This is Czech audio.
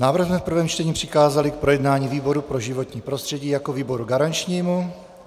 Návrh jsme v prvém čtení přikázali k projednání výboru pro životní prostředí jako výboru garančnímu.